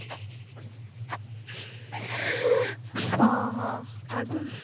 ह ह अजून?